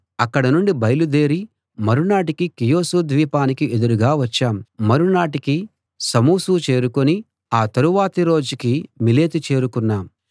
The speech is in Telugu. అక్కడ నుండి బయలుదేరి మరునాటికి కీయోసు ద్వీపానికి ఎదురుగా వచ్చాం మరునాటికి సమొసు చేరుకుని ఆ తరువాతి రోజుకి మిలేతు చేరుకున్నాం